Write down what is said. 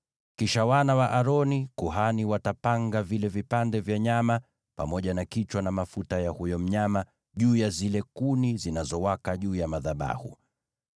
Kisha wana wa Aroni walio makuhani watapanga vile vipande vya nyama, pamoja na kichwa na mafuta ya huyo mnyama juu ya zile kuni zinazowaka juu ya madhabahu.